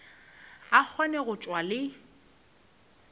a kgone go tšwa le